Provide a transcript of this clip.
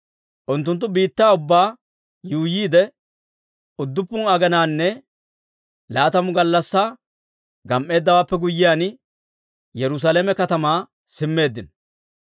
Unttunttu biittaa ubbaa yuuyyiidde, udduppun aginanne laatamu gallassaa gam"eeddawaappe guyyiyaan, Yerusaalame katamaa simmeeddino.